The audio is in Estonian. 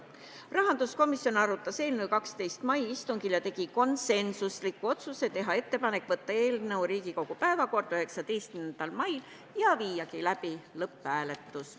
Rahanduskomisjon arutas eelnõu 12. mai istungil ning tegi konsensusliku otsuse teha ettepanek võtta eelnõu Riigikogu päevakorda 19. maiks ja viia läbi lõpphääletus.